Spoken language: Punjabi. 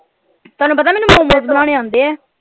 ਤੁਹਾਨੂੰ ਪਤਾ ਮੈਨੂੰ momos ਬਣਾਉਣੇ ਆਉਂਦੇ ਹੈ।